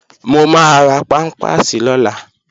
Mo máa ra pámpàsì lọ́la